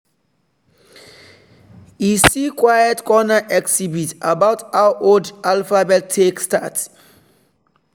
he see quiet corner exhibit about how old alphabet take start.